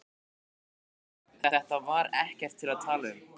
Auk þess, þetta var ekkert til að tala um.